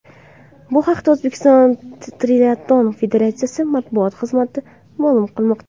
Bu haqda O‘zbekiston triatlon federatsiyasi matbuot xizmati ma’lum qilmoqda.